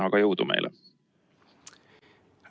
Aga jõudu meile!